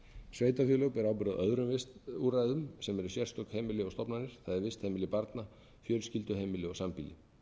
sveitarfélög bera ábyrgð á öðrum úrræðum sem eru sérstök heimili og stofnanir eða vistheimili barna